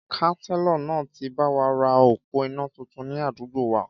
Kánsélọ̀ náà ti báwa ra òpó iná tuntun ni àdúgbò wa